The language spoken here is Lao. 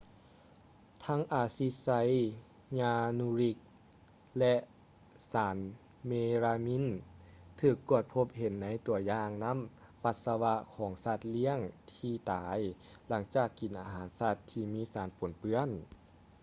ທັງ ອາຊິດໄຊຢານູຣິກ ແລະ ສານເມລາມີນ ຖືກກວດພົບເຫັນໃນຕົວຢ່າງນ້ຳປັດສະວະຂອງສັດລ້ຽງທີ່ຕາຍຫຼັງຈາກກິນອາຫານສັດທີ່ມີສານປົນເປື້ອນ